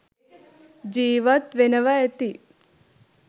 ජීවත් වෙනවා ඇති.